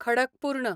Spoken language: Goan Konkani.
खडकपूर्ण